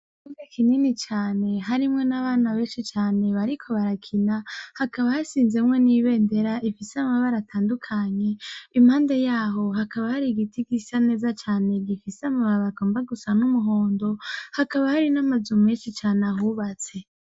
Ikibuga kinini cane harimwo n'abana benshi cane bariko barakina. Hakaba hashinzemwo n'ibendera ifise amabara atandukanye. Impande y'aho, hakaba har 'igiti gisa neza, gifise amababi agomba gusa n'umuhondo. Hakaba hari n'amazu menshi cane ahubatse .